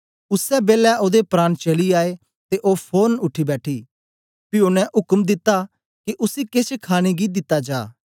उसै बेलै ओदे प्राण चली आए ते ओ फोरन उठी बैठी पी ओनें उक्म दित्ता के उसी केछ खाणे गी दिता जा